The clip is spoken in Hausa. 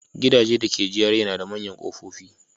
Gidajen dake GRA na da manyan kofofi.